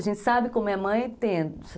A gente sabe como é mãe, tendo.